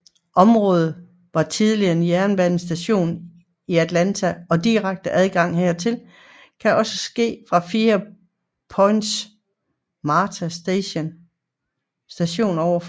Området var tidligere en jernbanestation i Atlanta og direkte adgang hertil kan også ske fra five points Marta station ovenover